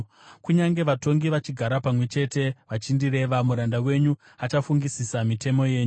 Kunyange vatongi vachigara pamwe chete vachindireva, muranda wenyu achafungisisa mitemo yenyu.